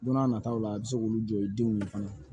Don n'a nataw la a bɛ se k'olu jɔ i denw ye fana